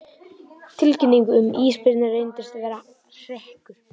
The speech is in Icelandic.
Tilkynning um ísbirni reyndist vera hrekkur